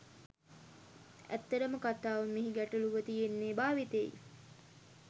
ඇත්තම කතාව මෙහි ගැටළුව තියෙන්නේ භාවිතයෙයි.